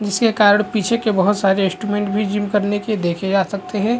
जिसके कारण पीछे के बहोत सारे इंस्ट्रूमेंट भी जीम करने के देखे जा सकते है।